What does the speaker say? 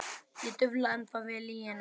Ég dufla ennþá við lygina.